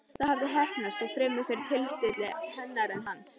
Það hafði heppnast, þó fremur fyrir tilstilli hennar en hans.